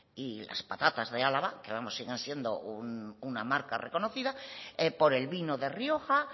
y las patatas de álava que vamos siguen siendo una marca reconocida por el vino de rioja